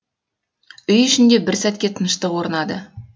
үй ішінде бір сәтке тыныштық орнады